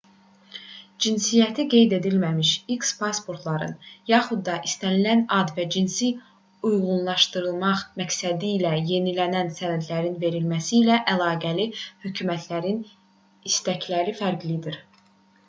cinsiyyəti qeyd edilməmiş x pasportların yaxud da istənilən ad və cinsi uyğunlaşdırmaq məqsədilə yenilənən sənədlərin verilməsi ilə əlaqəli hökumətlərin istəkləri fərqlidir